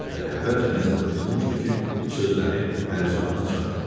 Şəbəli əvvəlcə nəzərdə tutmuşdu ki, bu sözləri Pəricahana çatdırmasın.